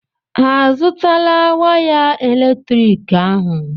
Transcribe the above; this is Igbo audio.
Ha azụtala waya eletrik ahụ?